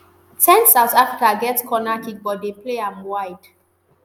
ten south africa get corner kick but dem play am wide